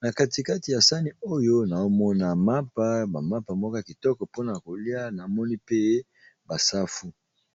na katikati ya sani oyo naomona mapa bamapa mokoya kitoko mpona kolia namoni pe basafu.